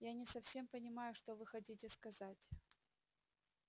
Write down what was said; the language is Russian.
я не совсем понимаю что вы хотите сказать